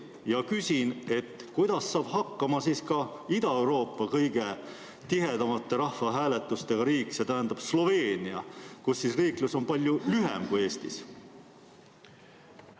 Ma küsin: kuidas saab hakkama Ida-Euroopa kõige tihedamate rahvahääletustega riik Sloveenia, kus riiklus on palju lühem kui Eestis?